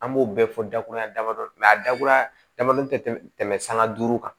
An b'o bɛɛ fɔ dakuruya damadɔ a dakuruya damadɔni tɛ tɛmɛ sanga duuru kan